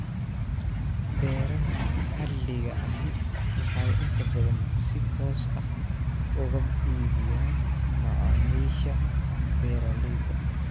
Beeraha maxalliga ahi waxay inta badan si toos ah uga iibiyaan macmiisha beeralayda